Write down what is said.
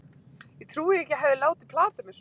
Ég trúi því ekki að ég hafi látið plata mig svona.